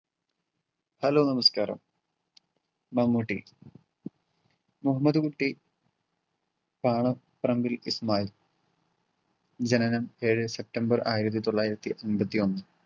hello നമസ്ക്കാരം. മമ്മൂട്ടി മുഹമ്മദ് കുട്ടി ആണ് ജനനം ഏഴേ സെപ്റ്റംബർ ആയിരത്തി തൊള്ളായിരത്തി അമ്പത്തിയൊന്ന്.